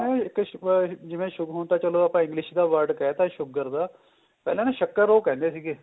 ਆ ਜਿਵੇਂ ਹੁਣ ਤਾਂ ਚਲੋ ਆਪਾਂ English ਦਾ word ਕਹਿ ਤਾਂ sugar ਦਾ ਪਹਿਲਾਂ ਨਾ ਸਕਰ ਉਹ ਕਹਿੰਦੇ ਸੀਗੇ